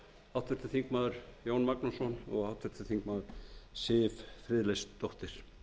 háttvirtur þingmaður jón magnússon og háttvirtur þingmaður siv friðleifsdóttir